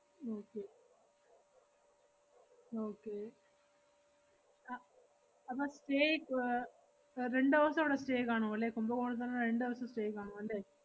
okay okay ah അപ്പ~ stay uh രണ്ടു ദെവസം അവടെ stay കാണുവല്ലേ? കുംഭകോണത്ത് തന്നെ രണ്ട്‌ ~വസം stay കാണുവല്ലേ?